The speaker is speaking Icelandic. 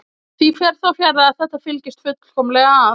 Því fer þó fjarri að þetta fylgist fullkomlega að.